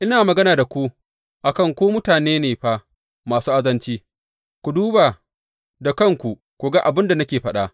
Ina magana da ku a kan ku mutane ne fa masu azanci; ku duba da kanku ku ga abin da nake faɗa.